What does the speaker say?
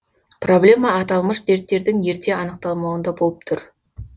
проблема аталмыш дерттердің ерте анықталмауында болып тұр